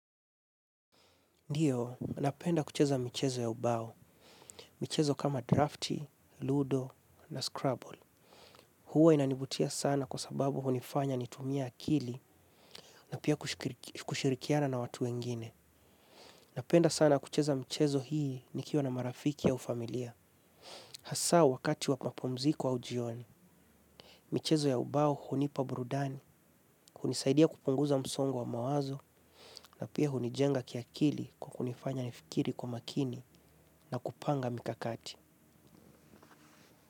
Ndiyo, napenda kucheza michezo ya ubao. Michezo kama Draftee, Ludo na Scrabble. Huwa inanivutia sana kwa sababu hunifanya nitumie akili na pia kushirikiana na watu wengine. Napenda sana kucheza michezo hii nikiwa na marafiki au familia. Hasa wakati wapumziko au jioni, michezo ya ubao hunipa burudani, hunisaidia kupunguza msongo wa mawazo na pia hunijenga kiakili kwa kunifanya nifikiri kwa makini na kupanga mikakati.